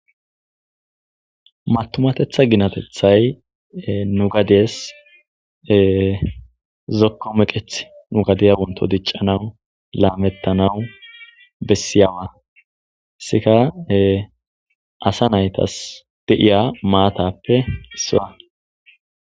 matumatetha ginatethay nu gadiyes zokko meqeth nu gadiya wonto diccanawu laamettanawu bessiyawa sika asa naytas de7iya maatappe siwa